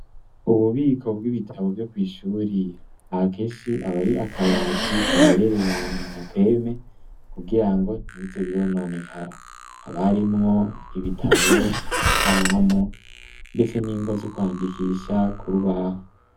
Ububiko bw'ibitabo vyo kw' ishure, akenshi aba ari akabati gaherereye ahantu mu gapeme kugirango ntibize birononekara. Haba harimwo ibitabo, amakaramu ndetse n'ingwa zo kwandikisha ku rubaho.